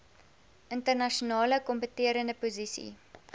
internasionale kompeterende posisie